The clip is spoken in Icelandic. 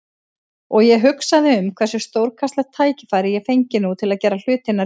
Og ég hugsaði um hversu stórkostlegt tækifæri ég fengi nú til að gera hlutina rétt.